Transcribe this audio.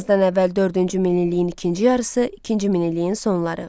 Eramızdan əvvəl dördüncü min illiyin ikinci yarısı, ikinci min illiyin sonları.